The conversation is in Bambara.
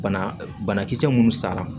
Bana banakisɛ minnu sanna